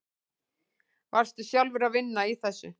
Varstu sjálfur að vinna í þessu?